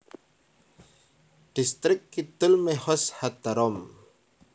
Dhistrik Kidul Mehoz HaDarom